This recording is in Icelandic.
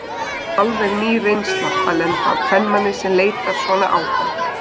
Alveg ný reynsla að lenda á kvenmanni sem leitar svona á hann.